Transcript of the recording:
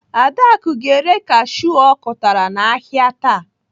Adaku ga-ere kashiu ọ kụtara n'ahịa taa.